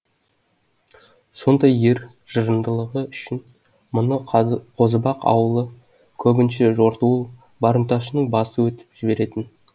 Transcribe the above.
сондай ер жырындылығы үшін мұны қозыбақ аулы көбінше жортуыл барымташының басы өтіп жіберетін